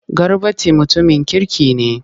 Garbati mutumin kirki ne.